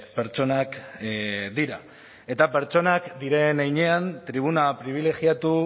pertsonak dira eta pertsonak diren heinean tribuna pribilegiatu